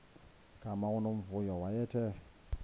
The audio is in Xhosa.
gama unomvuyo wayethe